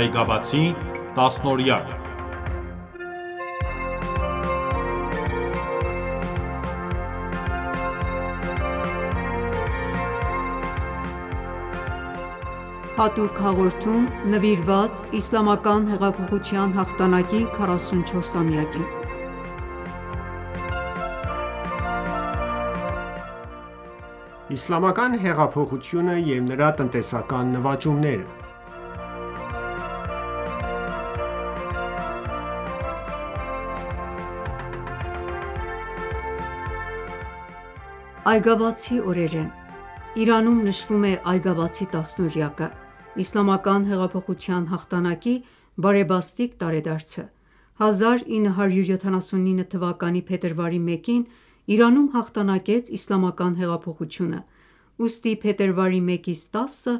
Այգաբացի տասնօրյակ(2.Հատուկ հաղորդում նվիրված Իսլամական հեղափոխության հաղթանակի 44-ամյակին) Իսլամական հեղափոխությունը եւ նրա տնտեսական նվաճումները: Այգաբացի օրեր են։ Իրանում նշվում է այգաբացի տասնօրյակը, իսլամական հեղափոխության հաղթանակի բարեբաստիկ տարեդարձը: 1979 թ․փետրվարի 1-ին Իրանում հաղթանակեց իսլամական հեղափոխությունը, ուստի փետրվարի 1-10-ը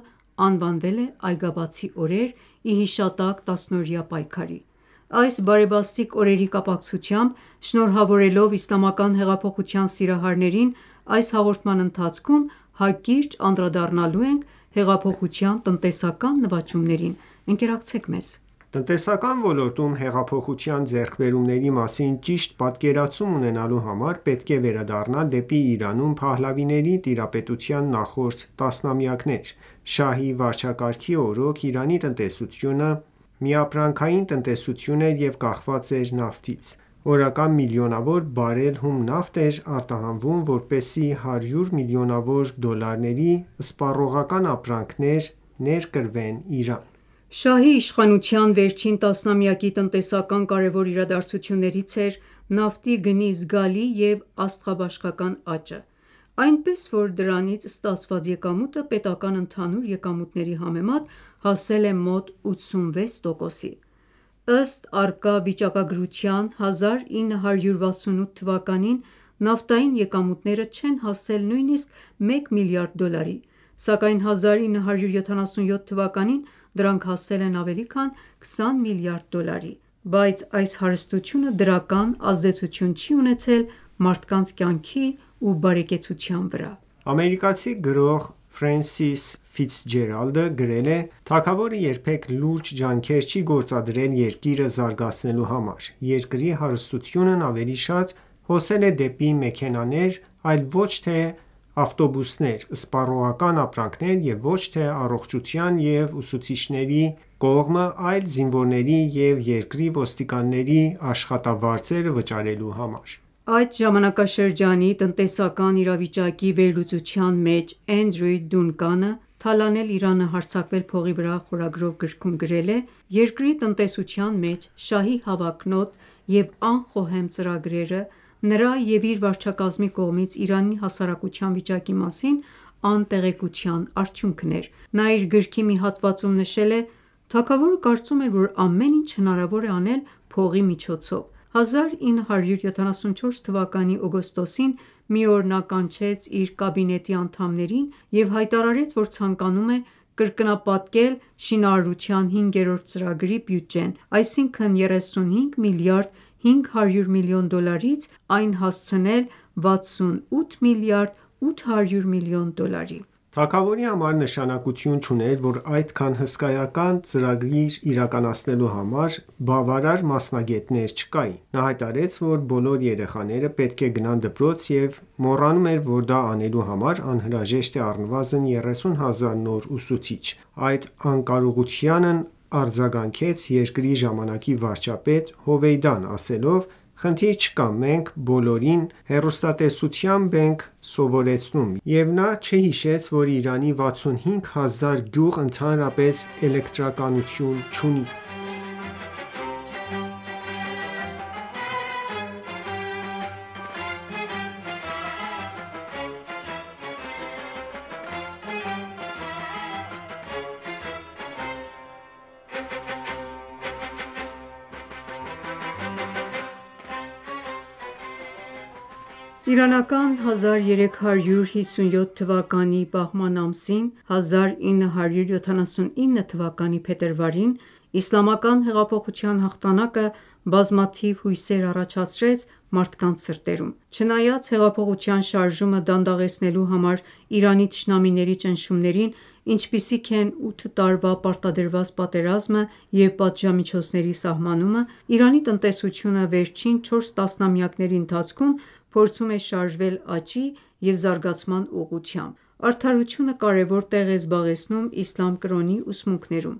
անվանվել է «Այգաբացի օրեր»՝ ի հիշատակ տասնօրյա պայքարի:Այս բարեբաստիկ օրերի կապակցությամբ շնորհավորելով Իսլամական հեղափոխության սիրահարներին, այս հաղորդման ընթացքում հակիրճ անդրադառնալու ենք հեղափոխության տնտեսական նվաճումներին:Ընկերակցեք մեզ։ Տնտեսության ոլորտում հեղափոխության ձեռքբերումների մասին ճիշտ պատկերացում ունենալու համար պետք է վերադառնալ դեպի Իրանում փահլավիների տիրապետության նախորդ տասնամյակներ։ Շահի վարչակարգի օրոք Իրանի տնտեսությունը միապրանքային տնտեսություն էր և կախված էր նավթից։ Օրական միլիոնավոր բարել հում նավթ էր արտահանվում որպեսզի հարյուր միլիոնավոր դոլարների սպառողական ապրանքներ ներկրվեն Իրան։ Շահի իշխանության վերջին տասնամյակի տնտեսական կարևոր իրադարձություններից էր նավթի գնի զգալի և աստղաբաշխական աճը։ Այնպես, որ դրանից ստացված եկամուտը պետական ընդհանուր եկամուտների համեմատ հասել է մոտ 86%-ի։ Ըստ առկա վիճակագրության՝ 1968 թվականին նավթային եկամուտները չեն հասել նույնիսկ մեկ միլիարդ դոլարի, սակայն 1977 թվականին դրանք հասել են ավելի քան 20 միլիարդ դոլարի։ Բայց այս հարստությունը դրական ազդեցություն չի ունեցել մարդկանց կյանքի ու բարեկեցության վրա։ Ամերիկացի գրող Ֆրենսիս գրել է.««Թագավորը երբեք լուրջ ջանքեր չի գործադրել երկիրը զարգացնելու համար։ Երկրի հարստությունն ավելի շատ հոսել է դեպի մեքենաներ, այլ ոչ թե ավտոբուսներ, սպառողական ապրանքներ և ոչ թե առողջության, և ուսուցիչների կողմը այլ զինվորների ու երկրի ոստիկանների աշխատավարձերը վճարելու համար»: Այդ ժամանակաշրջանի տնտեսական իրավիճակի վերլուծության մեջ Էնդրյու Դունկանը՝ «Թալանել Իրանը, հարձակվել փողի վրա» խորագրով գրքում, գրել է«Երկրի տնտեսության մեջ շահի հավակնոտ և անխոհեմ ծրագրերը նրա և իր վարչակազմի կողմից Իրանի հասարակության վիճակի մասին անտեղեկության արդյունքն էր»: Նա իր գրքի մի հատվածում նշել է.«Թագավորը կարծում էր, որ ամեն ինչ հնարավոր է անել փողի միջոցով, 1974 թվականի օգոստոսին, մի օր նա կանչեց իր կաբինետի անդամներին և հայտարարեց, որ ցանկանում է կրկնապատկել շինարարության հինգերորդ ծրագրի բյուջեն, այսինքն՝ 35 միլիարդ 500 միլիոն դոլարից այն հասցնել 68 միլիարդ 800 միլիոն դոլարի։ Թագավորի համար նշանակություն չուներ, որ այդքան հսկայական ծրագիր իրականացնելու համար բավարար մասնագետներ չկային: Նա հայտարարեց, որ բոլոր երեխաները պետք է գնան դպրոց և մոռանում էր, որ դա անելու համար անհրաժեշտ է առնվազն 30 հազար նոր ուսուցիչ։ Այդ անկարողությանն արձագանքեց երկրի ժամանակի վարչապետ Հովեյդան՝ ասելով. «Խնդիր չկա, մենք բոլորին հեռուստատեսությամբ ենք սովորեցնում, և նա չհիշեց, որ Իրանի 65000 գյուղ ընդհանրապես էլեկտրականություն չունի»։ Իրանական 1357 թվականի բահման ամսին(1979 թ․ փետրվարին) Իսլամական հեղափոխության հաղթանակը բազմաթիվ հույսեր առաջացրեց մարդկանց սրտերում։ Չնայած հեղափոխության շարժումը դանդաղեցնելու համար Իրանի թշնամիների ճնշումներին, ինչպիսիք են ութ տարվա պարտադրված պատերազմը և պատժամիջոցների սահմանումը, Իրանի տնտեսությունը վերջին 4 տասնամյակների ընթացքում փորձում է շարժվել աճի և զարգացման ուղղությամբ։ Արդարությունը կարևոր տեղ է զբաղեցնում իսլամ կրոնի ուսմունքներում։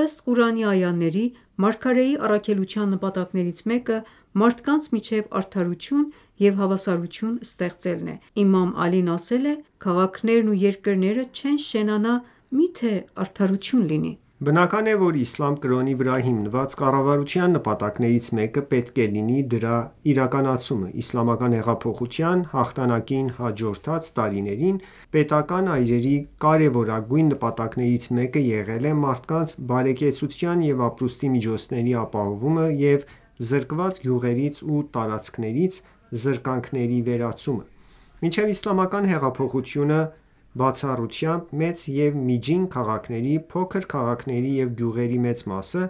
Ըստ Ղուրանի այաների՝ մարգարեի առաքելության նպատակներից մեկը մարդկանց միջև արդարություն և հավասարություն ստեղծելն է: Իմամ Ալին ասել է. «Քաղաքներն ու երկրները չեն շենանա, միթե արդարություն լինի»: Բնական է, որ իսլամ կրոնի վրա հիմնված կառավարության նպատակներից մեկը պետք է լինի դրա իրականացումը։ Իսլամական հեղափոխության հաղթանակին հաջորդած տարիներին պետական այրերի կարևորագույն նպատակներից մեկը եղել է մարդկանց բարեկեցության և ապրուստի միջոցների ապահովումը և զրկված գյուղերից ու տարածքներից զրկանքների վերացումը: Մինչև Իսլամական հեղափոխությունը, բացառությամբ մեծ և միջին քաղաքների, փոքր քաղաքների և գյուղերի մեծ մասը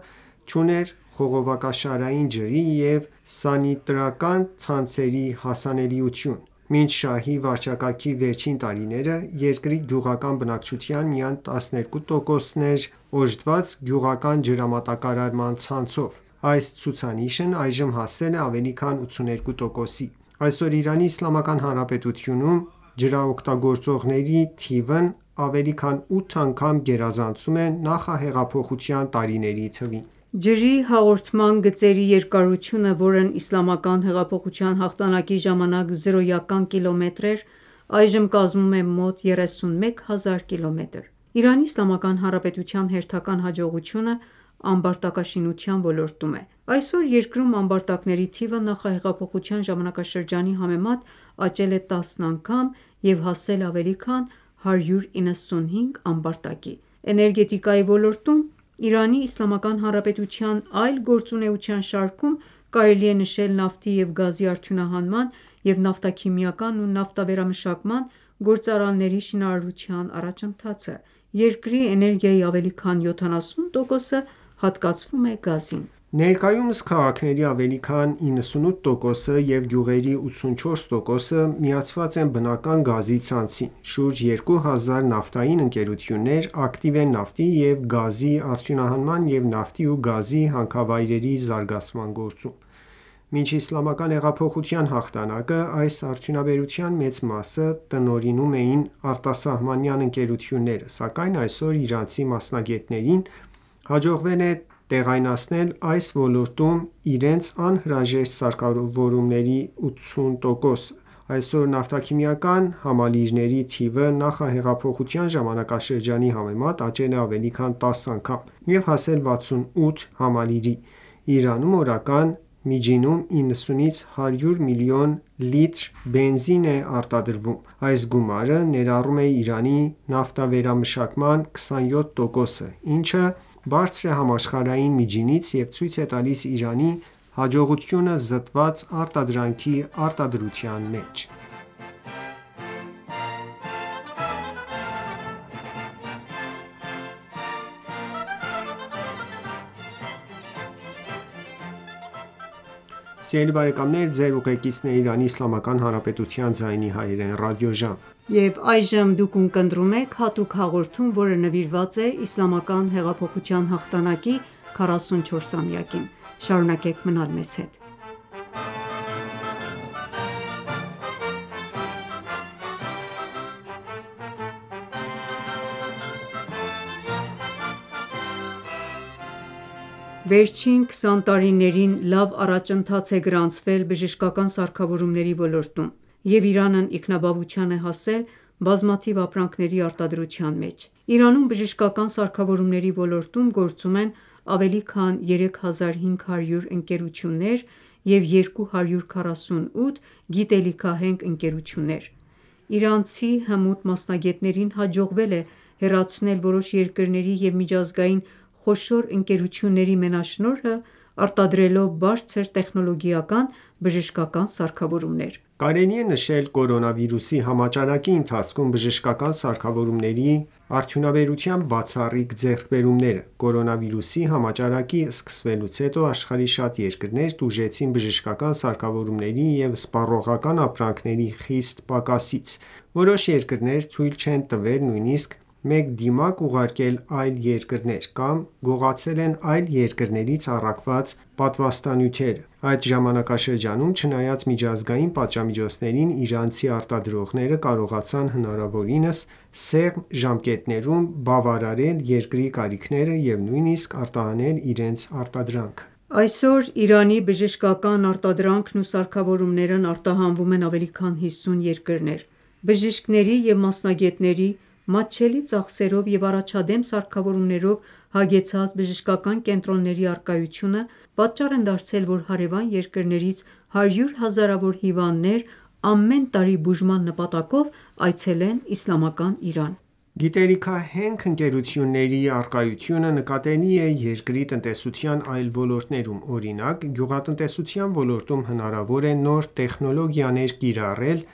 չուներ խողովակաշարային ջրի և սանիտարական ցանցերի հասանելիություն: Մինչ Շահի վարչակարգի վերջին տարիները, երկրի գյուղական բնակչության միայն 12%-ն էր օժտված գյուղական ջրամատակարարման ցանցով, այս ցուցանիշն այժմ հասել է ավելի քան 82%-ի: Այսօր Իրանի իսլամական հանրապետությունում ջրօգտագործողների թիվն ավելի քան 8 անգամ գերազանցում է նախահեղափոխության տարիների թվին։ Ջրի հաղորդման գծերի երկարությունը, որը Իսլամական հեղափոխության հաղթանակի ժամանակ զրոյական կիլոմետր էր, այժմ կազմում է մոտ 31 հազար կիլոմետր։ Իրանի Իսլամական Հանրապետության հերթական հաջողությունը ամբարտակաշինության ոլորտում է: Այսօր երկրում ամբարտակների թիվը նախահեղափոխության ժամանակաշրջանի համեմատ աճել է 10 անգամ և հասել է ավելի քան 195 ամբարտակի։ Էներգետիկայի ոլորտում Իրանի Իսլամական Հանրապետության այլ գործունեության շարքում կարելի է նշել նավթի և գազի արդյունահանման և նավթաքիմիական ու նավթավերամշակման գործարանների շինարարության առաջընթացը։ Երկրի էներգիայի ավելի քան 70%-ը հատկացվում է գազին։ Ներկայումս քաղաքների ավելի քան 98%-ը և գյուղերի 84%-ը միացված են բնական գազի ցանցին։ Շուրջ 2 հազար նավթային ընկերություններ ակտիվ են նավթի և գազի արդյունահանման և նավթի ու գազի հանքավայրերի զարգացման գործում։ Մինչ Իսլամական հեղափոխության հաղթանակը այս արդյունաբերության մեծ մասը տնօրինում էին արտասահմանյան ընկերությունները, սակայն այսօր իրանցի մասնագետներին հաջողվել է տեղայնացնել այս ոլորտում իրենց անհրաժեշտ սարքավորումների 80%-ը։ Այսօր նավթաքիմիական համալիրների թիվը նախահեղափոխության ժամանակաշրջանի համեմատ աճել է ավելի քան 10 անգամ և հասել 68 համալիրի։ Իրանում օրական միջինում 90-ից 100 մլն լիտր բենզին է արտադրվում։ Այս գումարը ներառում է Իրանի նավթավերամշակման 27%-ը, ինչը բարձր է համաշխարհային միջինից և ցույց է տալիս Իրանի հաջողությունը զտված արտադրանքի արտադրության մեջ։ Վերջին 20 տարիներին լավ առաջընթաց է գրանցվել բժշկական սարքավորումների ոլորտում և Իրանն ինքնաբավության է հասել բազմաթիվ ապրանքների արտադրության մեջ։ Իրանում բժշկական սարքավորումների ոլորտում գործում են ավելի քան 3500 ընկերություններ և 248 գիտելիքահենք ընկերություններ։ Իրանցի հմուտ մասնագետներին հաջողվել է հեռացնել որոշ երկրների և միջազգային խոշոր ընկերությունների մենաշնորհը՝ արտադրելով բարձր տեխնոլոգիական բժշկական սարքավորումներ։ Կարելի է նշել կորոնավիրուսի համաճարակի ընթացքում բժշկական սարքավորումների արդյունաբերության բացառիկ ձեռքբերումները։ Կորոնավիրուսի համաճարակի սկսվելուց հետո աշխարհի շատ երկրներ տուժեցին բժշկական սարքավորումների և սպառողական ապրանքների խիստ պակասից։ Որոշ երկրներ թույլ չեն տվել նույնիսկ մեկ դիմակ ուղարկել այլ երկրներ, կամ գողացել են այլ երկրներից առաքված պատվաստանյութերը։ Այդ ժամանակաշրջանում, չնայած միջազգային պատժամիջոցներին, իրանցի արտադրողները կարողացան հնարավորինս սեղմ ժամկետներում բավարարել երկրի կարիքները և նույնիսկ արտահանել իրենց արտադրանքը։ Այսօր Իրանի բժշկական արտադրանքն ու սարքավորումներն արտահանվում են ավելի քան 50 երկրներ։ Բժիշկների և մասնագետների, մատչելի ծախսերով և առաջադեմ սարքավորումներով հագեցած բժշկական կենտրոնների առկայությունը պատճառ են դարձել, որ հարևան երկրներից հարյուր հազարավոր հիվանդներ ամեն տարի բուժման նպատակով այցելեն Իսլամական Իրան: Գիտելիքահենք ընկերությունների առկայությունը նկատելի է երկրի տնտեսության այլ ոլորտներում։ Օրինակ՝ գյուղատնտեսության ոլորտում հնարավոր է նոր տեխնոլոգիաներ կիրառել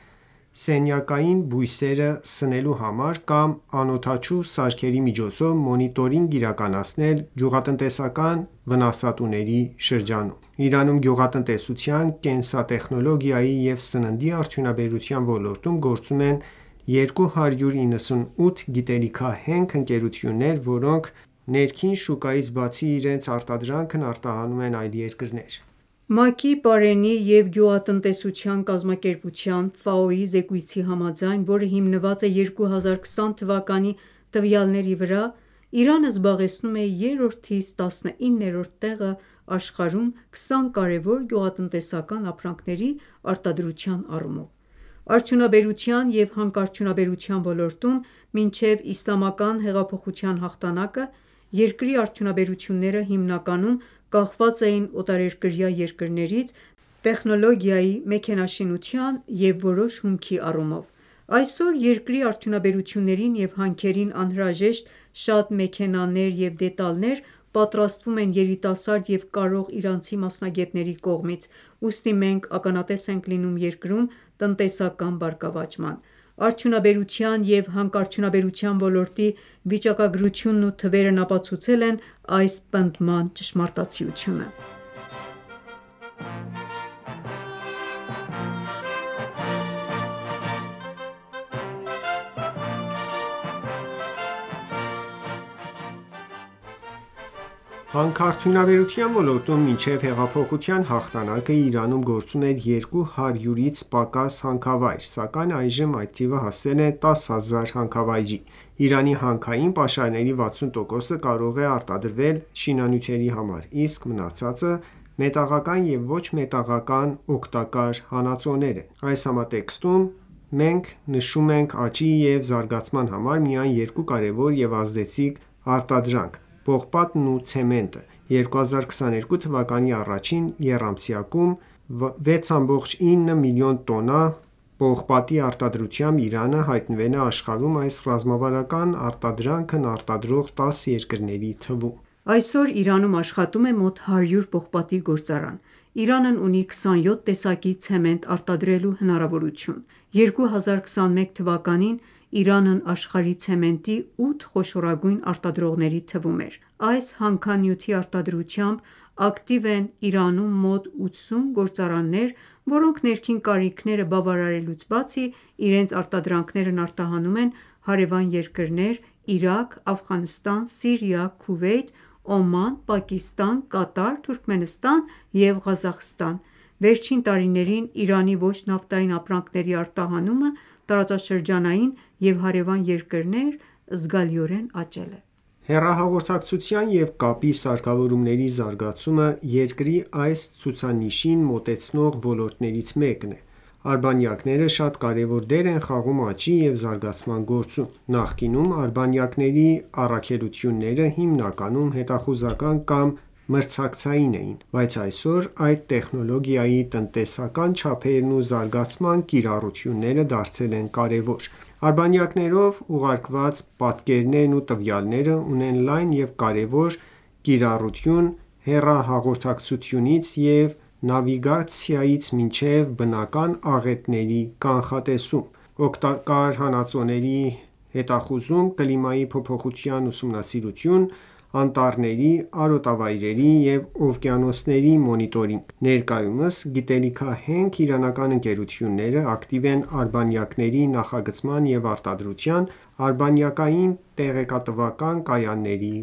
սենյակային բույսերը սնելու համար կամ անօդաչու սարքերի միջոցով մոնիտորինգ իրականացնել գյուղատնտեսական վնասատուների շրջանում։ Իրանում գյուղատնտեսության, կենսատեխնոլոգիայի և սննդի արդյունաբերության ոլորտում գործում են 298 գիտելիքահենք ընկերություններ, որոնք ներքիղն շուկայից բացի իրենց արտադրանքն արտահանում են այլ երկրներ։ ՄԱԿ-ի Պարենի և գյուղատնտեսության կազմակերպության զեկույցի համաձայն, որը հիմնված է 2020 թվականի տվյալների վրա, Իրանը զբաղեցնում է երրորդից տասնիններորդ տեղը աշխարհում 20 կարևոր գյուղատնտեսական ապրանքների արտադրության առումով։ Արդյունաբերության և հանքարդյունաբերության ոլորտում, մինչև Իսլամական հեղափոխության հաղթանակը, երկրի արդյունաբերությունները հիմնականում կախված էին օտարերկրյա երկրներից՝ տեխնոլոգիայի, մեքենաշինության և որոշ հումքի առումով: Այսօր երկրի արդյունաբերություններին և հանքերին անհրաժեշտ շատ մեքենաներ և դետալներ պատրաստվում են երիտասարդ և կարող իրանցի մասնագետների կողմից: Ուստի մենք ականատես ենք լինում երկրում տնտեսական բարգավաճման։ Արդյունաբերության և հանքարդյունաբերության ոլորտի վիճակագրությունն ու թվերն ապացուցել են այս պնդման ճշմարտացիությունը: Հանքարդյունաբերության ոլորտում մինչև հեղափոխության հաղթանակը Իրանում գործում էր 200-ից պակաս հանքավայր, սակայն այժմ այդ թիվը հասել է 10000 հանքավայրի։ Իրանի հանքային պաշարների 60%-ը կարող է արտադրվել շինանյութերի համար, իսկ մնացածը մետաղական և ոչ մետաղական օգտակար հանածոներ են։ Այս համատեքստում մենք նշում ենք աճի և զարգացման համար միայն երկու կարևոր և ազդեցիկ արտադրանք՝ պողպատն ու ցեմենտը: 2022 թվականի առաջին եռամսյակում 6,9 մլն տոննա պողպատի արտադրությամբ Իրանը հայտնվել է աշխարհում այս ռազմավարական արտադրանքն արտադրող 10 երկրների թվում։ Այսօր Իրանում աշխատում է մոտ 100 պողպատի գործարան։ Իրանն ունի 27 տեսակի ցեմենտ արտադրելու հնարավորություն։ 2021 թվականին Իրանը աշխարհի ցեմենտի ութ խոշորագույն արտադրողների թվում էր։ Այս հանքանյութի արտադրությամբ ակտիվ են Իրանում մոտ 80 գործարաններ, որոնք ներքին կարիքները բավարարելուց բացի, իրենց արտադրանքներն արտահանում են հարևան երկրներ՝ Իրաք, Աֆղանստան, Սիրիա, Քուվեյթ, Օման, Պակիստան, Կատար, Թուրքմենստան և Ղազախստան։ Վերջին տարիներին Իրանի ոչ նավթային ապրանքների արտահանումը տարածաշրջանային և հարևան երկրներ զգալիորեն աճել է։ Հեռահաղորդակցության և կապի սարքավորումների զարգացումը երկրի այս ցուցանիշին մոտեցնող ոլորտներից մեկն է։ Արբանյակները շատ կարևոր դեր են խաղում աճի և զարգացման գործում: Նախկինում արբանյակների առաքելությունները հիմնականում հետախուզական կամ մրցակցային էին, բայց այսօր այս տեխնոլոգիայի տնտեսական չափերն ու զարգացման կիրառությունները դարձել են կարևոր: Արբանյակներով ուղարկված պատկերներն ու տվյալները ունեն լայն և կարևոր կիրառություն՝ հեռահաղորդակցությունից և նավիգացիայից մինչև բնական աղետների կանխատեսում։ Օգտակար հանածոների հետախուզում, կլիմայի փոփոխության ուսումնասիրություն, անտառների, արտոավայրերի և օվկիանոսների մոնիտորինգ: Ներկայումս գիտելիքահենք իրանական ընկերությունները ակտիվ են արբանյակների նախագծման և արտադրության, արբանյակային տեղեկատվական կայանների